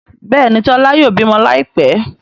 Béèni Tola yóò bímọ Láìpé.